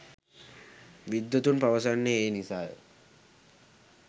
විද්වතුන් පවසන්නේ ඒ නිසාය.